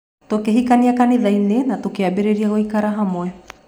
Tũkĩhikania kanitha-inĩ na tũkĩambĩrĩria gũikarania hamwe.